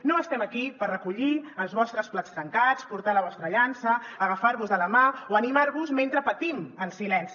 no estem aquí per recollir els vostres plats trencats portar la vostra llança agafar vos de la mà o animar vos mentre patim en silenci